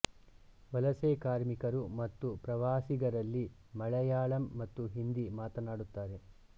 ವಲಸೆ ಕಾರ್ಮಿಕರು ಮತ್ತು ಪ್ರವಾಸಿಗರಲ್ಲಿ ಮಲಯಾಳಂ ಮತ್ತು ಹಿಂದಿ ಮಾತನಾಡುತ್ತಾರೆ